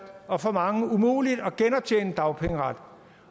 og for mange umuligt at genoptjene dagpengeret